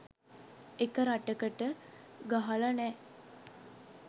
එක රටකට ගහල නෑ